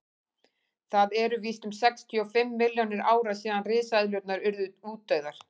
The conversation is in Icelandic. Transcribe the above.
það eru víst um sextíu og fimm milljónir ára síðan risaeðlurnar urðu útdauðar